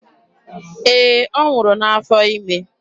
Ee, ọ nwụrụ n'afọ ime.